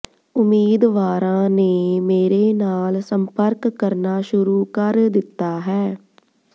ਉਮੀਦਵਾਰਾਂ ਨੇ ਮੇਰੇ ਨਾਲ ਸੰਪਰਕ ਕਰਨਾ ਸ਼ੁਰੂ ਕਰ ਦਿੱਤਾ ਹੈ